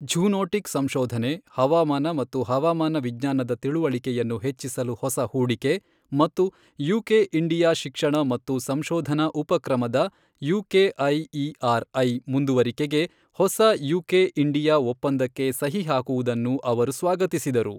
zoonotic ಸಂಶೋಧನೆ, ಹವಾಮಾನ ಮತ್ತು ಹವಾಮಾನ ವಿಜ್ಞಾನದ ತಿಳಿವಳಿಕೆಯನ್ನು ಹೆಚ್ಚಿಸಲು ಹೊಸ ಹೂಡಿಕೆ, ಮತ್ತು ಯುಕೆ ಇಂಡಿಯಾ ಶಿಕ್ಷಣ ಮತ್ತು ಸಂಶೋಧನಾ ಉಪಕ್ರಮದ ಯುಕೆಐಇಆರ್ ಐ ಮುಂದುವರಿಕೆಗೆ ಹೊಸ ಯುಕೆ ಇಂಡಿಯಾ ಒಪ್ಪಂದಕ್ಕೆ ಸಹಿ ಹಾಕುವುದನ್ನು ಅವರು ಸ್ವಾಗತಿಸಿದರು